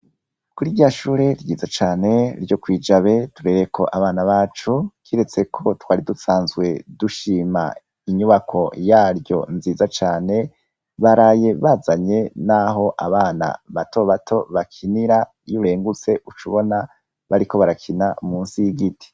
kuri rya shure ryiza cane ,ryo kwi Jabe, turereyeko abana bacu, kiretseko twari dusanzwe dushima inyubako yaryo nziza cane, baraye bazanye naho abana bato bato bakinira, iyo urengutse uca ubona bariko barakina musi y'igiti.